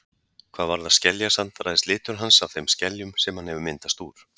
Hvað varðar skeljasand ræðst litur hans af þeim skeljum sem hann hefur myndast úr.